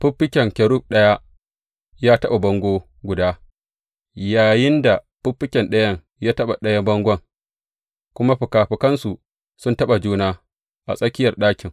Fiffiken kerub ɗaya ya taɓa bango guda, yayinda fiffiken ɗayan ya taɓa ɗayan bangon, kuma fikafikansu sun taɓa juna a tsakiyar ɗakin.